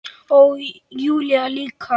Og Júlía líka.